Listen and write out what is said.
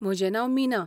म्हजें नांव मीना.